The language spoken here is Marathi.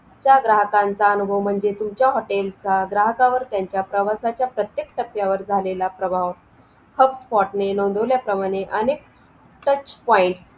तुमच्या ग्राहकाचा अनुभव म्हणजे तुमच्या हॉटेल चा ग्राहकांवर त्यांचा प्रवासाच्या प्रत्येक टप्यावर झालेला प्रभाव Hotspot ने नोंदवल्या प्रमाणे अनेक Touch point